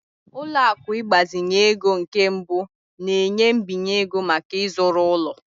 Ụlọ akụ ịgbazinye ego nke mbụ na-enye mbinye ego maka ịzụrụ ụlọ.